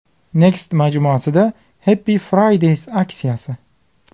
Next majmuasida Happy Fridays aksiyasi.